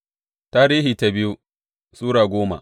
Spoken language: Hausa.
biyu Tarihi Sura goma